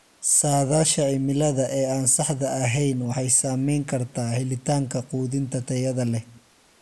Saadaasha cimilada ee aan saxda ahayn waxay saameyn kartaa helitaanka quudinta tayada leh.